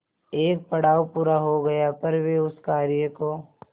एक पड़ाव पूरा हो गया पर वे उस कार्य को